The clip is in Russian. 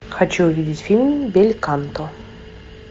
хочу увидеть фильм бельканто